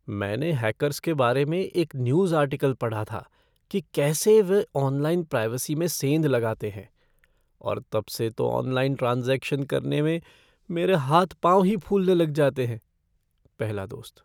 मैंने हैकर्स के बारे में एक न्यूज़ आर्टिकल पढ़ा था कि कैसे वे ऑनलाइन प्राइवेसी में सेंध लगाते हैं और तब से तो ऑनलाइन ट्रांज़ैक्शन करने में मेरे हाथ पाँव ही फूलने लग जाते हैं। पहला दोस्त